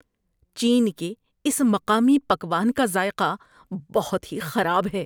چین کے اس مقامی پکوان کا ذائقہ بہت ہی خراب ہے۔